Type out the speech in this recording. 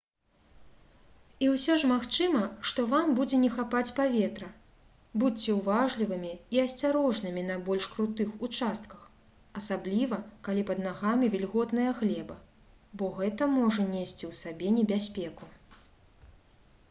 і ўсё ж магчыма што вам будзе не хапаць паветра будзьце ўважлівымі і асцярожнымі на больш крутых участках асабліва калі пад нагамі вільготная глеба бо гэта можа несці ў сабе небяспеку